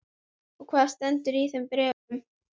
Og hvað stendur í þeim bréfum?